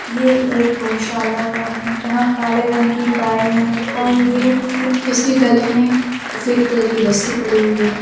ये एक गोशाला का है जहाँ काले रंग की गाय है और ये की इसके गले में सफ़ेद कलर की रस्सी पड़ी हुई है।